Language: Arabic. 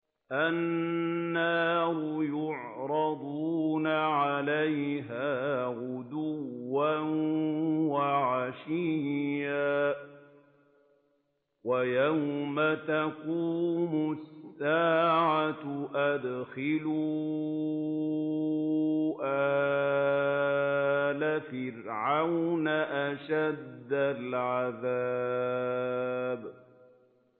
النَّارُ يُعْرَضُونَ عَلَيْهَا غُدُوًّا وَعَشِيًّا ۖ وَيَوْمَ تَقُومُ السَّاعَةُ أَدْخِلُوا آلَ فِرْعَوْنَ أَشَدَّ الْعَذَابِ